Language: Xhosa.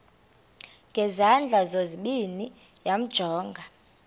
ngezandla zozibini yamjonga